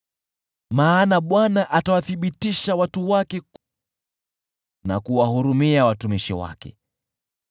Maana Bwana atawathibitisha watu wake, na kuwahurumia watumishi wake.